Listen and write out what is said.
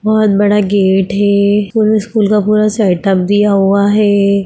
बहुत बड़ा गेट है इसमें स्कूल का पूरा सेटअप दिया हुआ है।